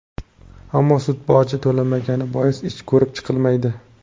Ammo sud boji to‘lanmagani bois ish ko‘rib chiqilmaydi.